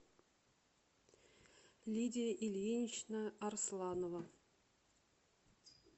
лидия ильинична арсланова